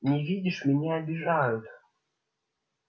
не видишь меня обижают